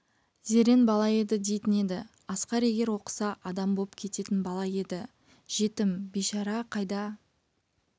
зерен бала еді дейтін еді асқар егер оқыса адам боп кететін бала еді жетім бейшара қайда